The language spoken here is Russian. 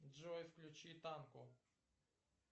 джой включи танко